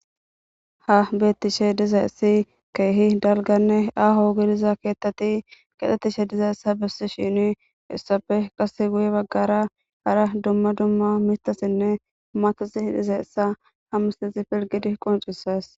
Ha betishe dizaysi kehi daliganne aho gidiza kethati kexetishe dizaysa besishini isstape qase guye bagara hara duma duma mithatine matati dizaysa ha missilezi pilgidi qonc'ises.